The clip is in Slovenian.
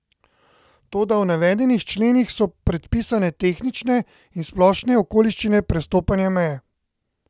Toda v navedenih členih so predpisane tehnične in splošne okoliščine prestopanja meje.